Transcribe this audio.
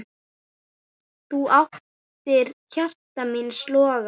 Þú áttir hjarta míns loga.